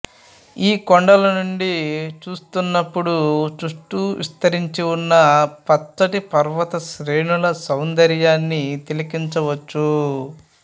ఈ కొండల నుండి చూస్తున్నప్పుడు చుట్టూ విస్తరించి ఉన్న పచ్చటి పర్వతశ్రేణుల సౌందర్యన్ని తిలకించవచ్చు